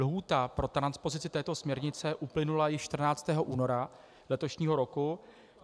Lhůta pro transpozici této směrnice uplynula již 14. února letošního roku.